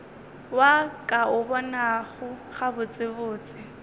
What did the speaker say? wa ka o bonago gabotsebotse